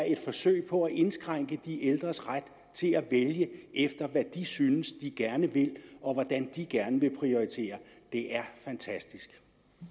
et forsøg på at indskrænke de ældres ret til at vælge efter hvad de synes de gerne vil og hvordan de gerne vil prioritere det er fantastisk